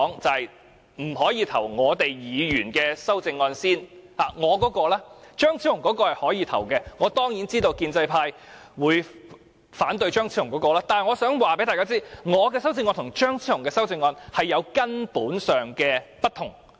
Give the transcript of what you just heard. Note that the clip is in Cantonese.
張超雄議員的修正案是可以進行表決的，我當然知道建制派會反對他的修正案，但我想告訴大家，我的修正案與張超雄議員的修正案有根本上的不同。